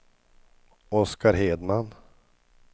Oscar Hedman